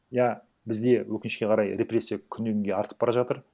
иә бізде өкінішке қарай репрессия күннен күнге артып бара жатыр